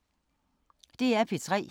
DR P3